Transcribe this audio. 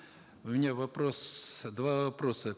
у меня вопрос два вопроса